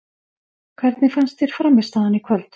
Hvernig fannst þér frammistaðan í kvöld?